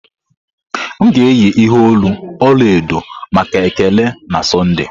M ga-eyi ihe olu ọla edo maka Ekele na Sọnde.